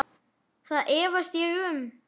Það efast ég um.